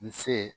N se